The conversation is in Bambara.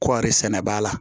Kɔɔri sɛnɛ ba la